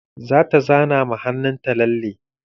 Zata zana ma hannunta lalle.